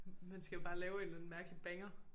Man skal jo bare lave en eller anden mærkelig banger